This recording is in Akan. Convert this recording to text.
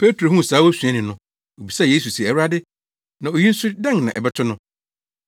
Petro huu saa osuani no, obisaa Yesu se, “Awurade, na oyi nso dɛn na ɛbɛto no?”